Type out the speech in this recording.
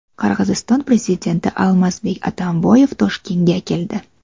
Qirg‘iziston prezidenti Almazbek Atamboyev Toshkentga keldi.